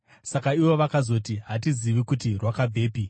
Saka ivo vakazoti, “Hatizivi kuti rwakabvepi.”